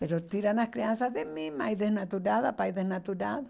Mas tiram as crianças de mim, mãe desnaturada, pai desnaturado.